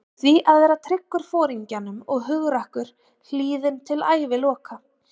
Hét því að vera tryggur Foringjanum og hugrakkur, hlýðinn til æviloka.